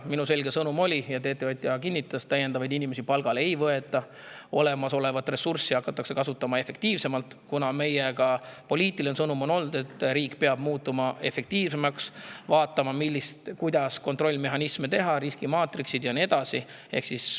Minu selge sõnum oli ja TTJA kinnitas, et täiendavaid inimesi palgale ei võeta, vaid olemasolevat ressurssi hakatakse kasutama efektiivsemalt, kuna meie poliitiline sõnum on olnud, et riik peab muutuma efektiivsemaks, vaatama, kuidas teha kontrollmehhanisme, riskimaatriks ja nii edasi.